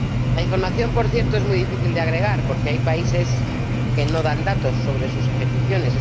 La información, por cierto, es muy difícil de agregar, porque hay países que no ofrecen datos sobre sus ejecuciones.